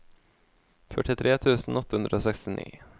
førtitre tusen åtte hundre og sekstini